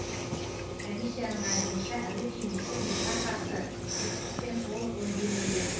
комиссияның айтуынша әуе кемесі мұзға қарсы сұйықтықпен толық өңделмеген